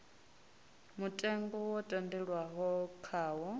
mutengo wo tendelanwaho khawo a